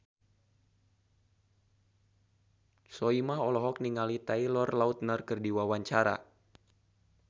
Soimah olohok ningali Taylor Lautner keur diwawancara